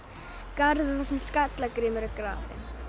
garður þar sem skalla Grímur er grafinn